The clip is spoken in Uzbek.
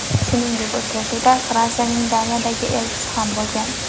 Shuningdek, uchrashuvda Fransiyaning Daniyadagi elchisi ham bo‘lgan.